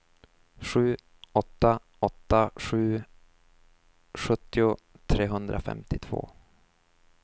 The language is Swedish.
sju åtta åtta sju sjuttio trehundrafemtiotvå